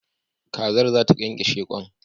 Kazar zata kyankyashe kwan